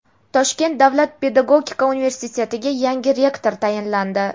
Toshkent davlat pedagogika universitetiga yangi rektor tayinlandi.